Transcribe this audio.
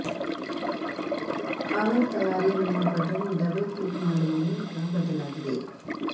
power ತಯಾರಿ mode button double click ಮಾಡುವ ಮೂಲಕ ಬದಲಾಗಿದೆ